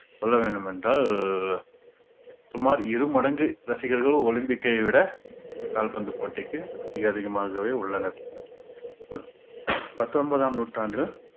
சொல்ல வேண்டுமென்றால் சுமார் இரு மடங்கு ரசிகர்கள் ஒலிம்பிக்கை விட கால்பந்து போட்டிக்கு அதிக~ அதிகமாகவே உள்ளனர் பத்தொன்பதாம் நூற்றாண்டு